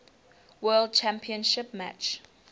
world championship match